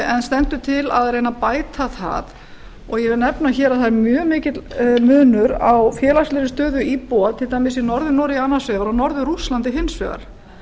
en stendur til að reyna að bæta það ég vil nefna hér að það er mjög mikill munur á félagslegri stöðu íbúa til dæmis í norður noregi annars vegar og norður rússlandi hins vegar